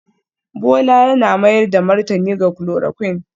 Bola yana mayar da martani ga chloroquine